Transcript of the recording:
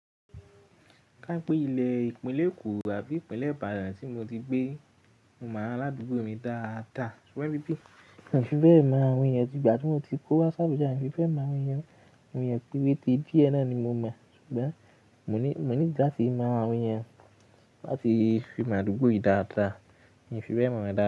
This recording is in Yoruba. Ká pé ilẹ ìpínlẹ̀ Èkó àbí ìpínlẹ̀ Ìbàdàn tí mo ti gbé, mo mọ àwọn aládùúgbò mi dáadáa ṣùgbọ́n ibí bí ì n fi bẹ́ mọ àwọn ènìyàn ti ìgbà tí mo ti kó wá si abuja, èmi o fi bẹ́ mọ àwọn ènìyàn o. Àwọn ènìyàn péréte díẹ̀ náà ni mo mọ ṣùgbọ́n mo need làtí mọ àwọn ènìyàn láti fi mọ àdúgbò yìí dáadáa, mi fi bẹ́ mọ̀ wọn dáadáa.